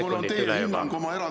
Aitäh, hea kolleeg Mart Helme!